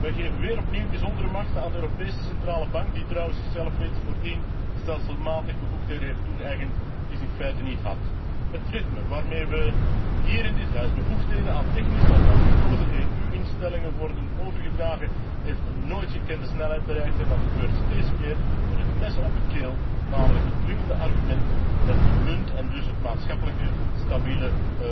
Wij geven opnieuw bijzondere macht aan de Europese Centrale Bank, die zichzelf trouwens voordien stelselmatig bevoegdheden heeft toegeëigend die zij in feite niet had. Het ritme waarmee hier in dit huis bevoegdheden aan technische en niet gekozen EU instellingen worden overgedragen, heeft een nooit gekende snelheid bereikt en dat gebeurt steeds meer met het mes op de keel, namelijk het dwingende argument dat de munt en dus het maatschappelijke stabiele